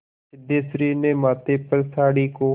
सिद्धेश्वरी ने माथे पर साड़ी को